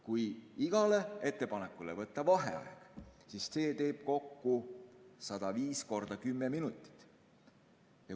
Kui iga ettepaneku kohta võtta vaheaeg, siis see teeb kokku 105 korda 10 minutit.